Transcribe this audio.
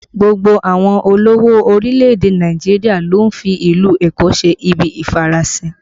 Gbogbo àwọn olówó orílẹ̀ èdè Nàìjíríà ló ń fi ìlú Èkó ṣe ibi ìfarasin